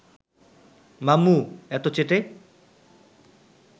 মাম্মু এতো চেটে